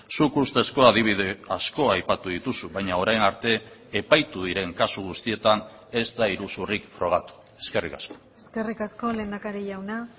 zuk ustezko adibide asko aipatu dituzu baina orain arte epaitu diren kasu guztietan ez da iruzurrik frogatu eskerrik asko eskerrik asko lehendakari jauna